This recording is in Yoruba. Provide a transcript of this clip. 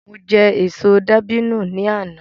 Mo jẹ èso dàbínù ni àná